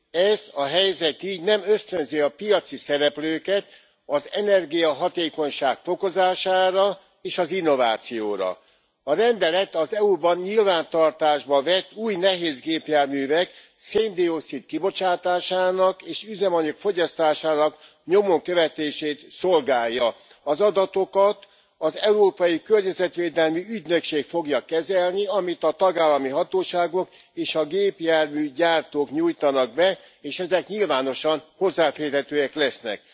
Ez a helyzet így nem ösztönzi a piaci szereplőket az energiahatékonyság fokozására és az innovációra. A rendelet az EU ban nyilvántartásba vett új nehézgépjárművek széndioxid kibocsátásának és üzemanyag fogyasztásának nyomon követését szolgálja. Az adatokat az Európai Környezetvédelmi Ügynökség fogja kezelni, amit a tagállami hatóságok és a gépjárműgyártók nyújtanak be, és ezek nyilvánosan hozzáférhetőek lesznek.